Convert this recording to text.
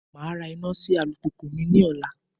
Màá ra iná sí alùpùpù mi ní ọ̀la